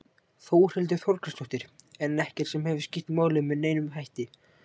Þórhildur Þorkelsdóttir: En ekkert sem hefur skýrt málið með neinum hætti?